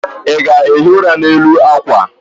ị ga-ehi ụra n'elu akwa?